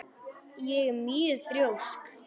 Ég er mjög þrjósk.